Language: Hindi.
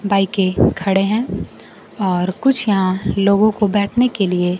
बाइके खड़े हैं और कुछ यहां लोगों को बैठने के लिए--